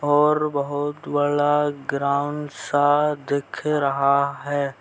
और बहुत बड़ा ग्राउंड सा दिख रहा है।